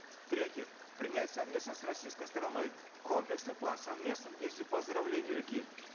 третье принять совместно с российской стороной комплексный план совместных действий по оздоровлению реки